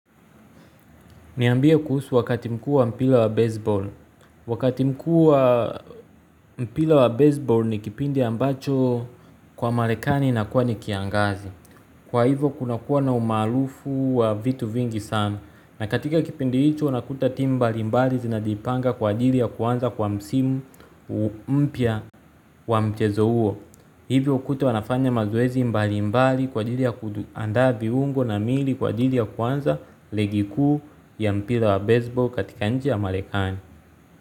Niambie kuhusu wakati mkuu wa mpira wa baseball. Wakati mkuu wa mpira wa baseball ni kipindi ambacho kwa marekani inakuwa ni kiangazi. Kwa hivyo kuna kuwa na umaarufu wa vitu vingi sana. Na katika kipindi hicho unakuta timu mbali mbali zinajipanga kwa ajili ya kuanza kwa msimu mpya wa mchezo huo. Hivyo hukuta wanafanya mazoezi mbali mbali kwa ajili ya kuandaa viungo na mili kwa ajili ya kuanza ligi kuu ya mpira wa baseball katika nchi ya marekani.